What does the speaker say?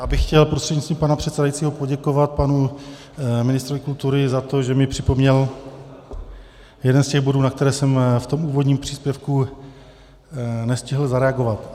Já bych chtěl prostřednictvím pana předsedajícího poděkovat panu ministrovi kultury za to, že mi připomněl jeden z těch bodů, na které jsem ve svém úvodním příspěvku nestihl zareagovat.